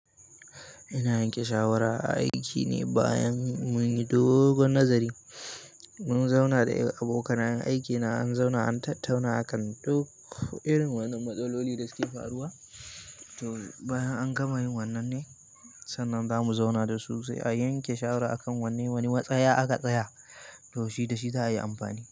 Ina yanke shawara a aiki ne bayan mun yi dogon nazari. Mun zauna da abokanayen aik ina, an zauna an tattauna akan duk irin wannan matsaloli da suke faruwa. To bayan an gama yin wannan ne, sannan za mu zauna da su sai a yanke shawara a kan wanne wani matsayi aka tsaya. To shi da shi za a yi amfani.